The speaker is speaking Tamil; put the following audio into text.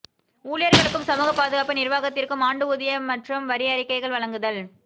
ஊழியர்களுக்கும் சமூக பாதுகாப்பு நிர்வாகத்திற்கும் ஆண்டு ஊதிய மற்றும் வரி அறிக்கைகள் வழங்குதல்